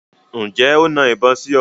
Ǹjẹ́ o na ìbọn sí ọ?